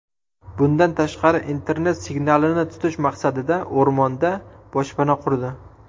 Bundan tashqari internet signalini tutish maqsadida o‘rmonda boshpana qurdi.